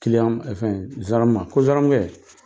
ma, fɛn zandaramu ma ko: zandaramukɛ